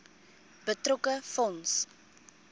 betrokke fonds